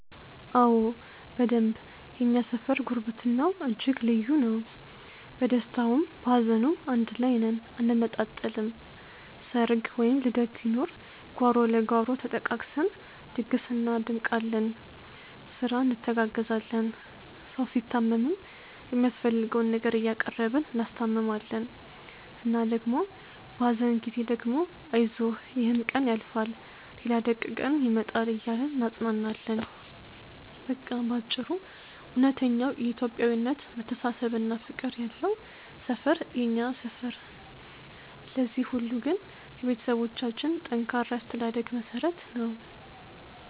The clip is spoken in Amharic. አዎ በደንብ የእኛ ሰፈር ጉርብትናው እጅግ ልዩ ነው። በደስታውም በሀዘኑም አንድ ላይ ነን አንነጣጠልም። ሰርግ ወይም ልደት ሲኖር ጓሮ ለጓሮ ተጠቃቅሰን ድግስ እናደምቃለን፤ ስራ እንተጋገዛለን። ሰው ሲታመም የሚያስፈልገውን ነገር እያቀረብን እናስታምማለን እና ደግሞ በሀዘን ጊዜ ደግሞ አይዞህ ይሕም ቀን ያልፋል ሌላ ደግ ቀን ይመጣል እያልን እናጽናናለን። በቃ በአጭሩ እውነተኛው የኢትዮጵያዊነት መተሳሰብና ፍቅር ያለው ሰፈር ነው የኛ ሰፈር። ለዚህ ሁሉ ግን የቤተሰቦቻችን ጠንካራ የአስተዳደግ መሠረት ነው።